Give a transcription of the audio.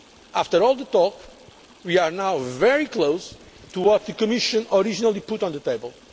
After all the talk, we are now very close to what the Commission originally put on the table.